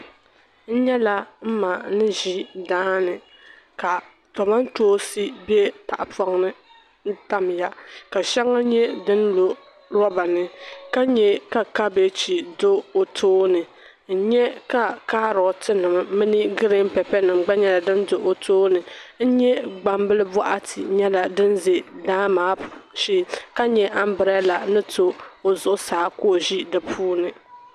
N nyɛla m ma nizi daani, ka tomantoonsi be tahi pɔŋni n tamya ka shaŋa mi lɔnlɔ lɔbani ka nyɛ ka kabegi dɔ o tooni n nyɛ kaarotinim mini green pɛpɛnim. gba nyɛla din do ɔtɔɔni n nyɛ gbambil bɔɣati nyala din zɛ daa maa shee, ka nyɛ ambirela ni to ɔzuɣu saa. ka o zi dipuuni.